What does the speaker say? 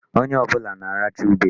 Onye ọbụla na-aracha ube.